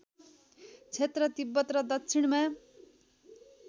क्षेत्र तिब्बत र दक्षिणमा